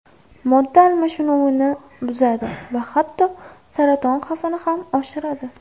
Modda almashinuvini buzadi va hatto saraton xavfini ham oshiradi.